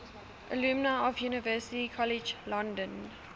alumni of university college london